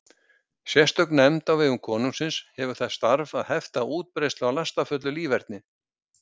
Sérstök nefnd á vegum konungsins hefur það starf að hefta útbreiðslu á lastafullu líferni.